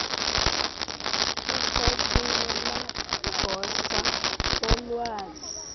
usekela gosa wolwazi